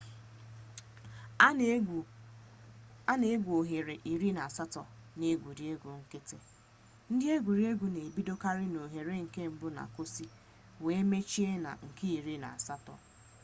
a na-egwu oghere iri na-asato na egwuregwu nkiti ndi egwuregwu n'ebidokari na oghere nke mbu na koosu were mechie na nke iri na-asato